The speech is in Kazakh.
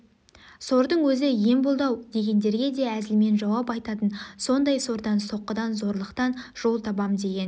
сордың өзі ем болды-ау дегендерге де әзілмен жауап айтатын сондай сордан соққыдан зорлықтан жол табам деген